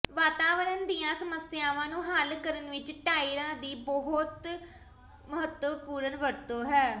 ਵਾਤਾਵਰਣ ਦੀਆਂ ਸਮੱਸਿਆਵਾਂ ਨੂੰ ਹੱਲ ਕਰਨ ਵਿੱਚ ਟਾਇਰਾਂ ਦੀ ਵਰਤੋਂ ਬਹੁਤ ਮਹੱਤਵਪੂਰਨ ਹੈ